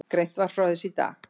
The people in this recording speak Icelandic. Greint var frá þessu í dag